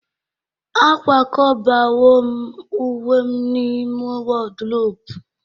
akwakọbawo m uwe m n'ime wardrobe